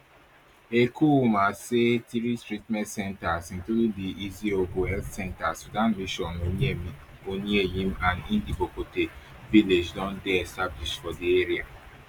ekuma say three treatment centres including di iziogo health centre sudan mission onuenyim and ndibokote village don dey established for di area